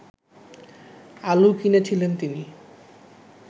আলু কিনেছিলেন তিনি